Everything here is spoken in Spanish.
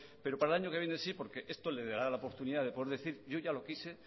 pero para el año que viene sí porque esto le dará la oportunidad de poder decir yo ya lo quise